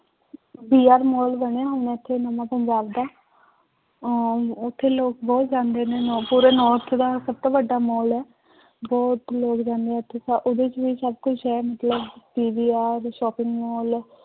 VR mall ਬਣੇ ਹੋਏ ਨੇ ਇੱਥੇ ਨਵਾਂ ਪੰਜਾਬ ਦਾ ਅਹ ਉੱਥੇ ਲੋਕ ਬਹੁਤ ਜਾਂਦੇ ਨੇ ਪੂਰੇ north ਦਾ ਸਭ ਤੋਂ ਵੱਡਾ ਮਾਲ ਹੈ ਬਹੁਤ ਲੋਕ ਜਾਂਦੇ ਹੈ ਉੱਥੇ ਸ ਉਹਦੇ ਚ ਵੀ ਸਭ ਕੁਛ ਹੈ ਮਤਲਬ PVR shopping ਮਾਲ